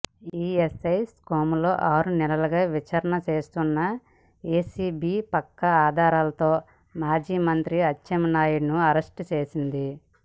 ESI స్కామ్లో ఆరునెలలుగా విచారణ చేస్తున్న ఏసీబీ పక్కా ఆధారాలతో మాజీ మంత్రి అచ్చెన్నాయుడును అరెస్టు చేసింది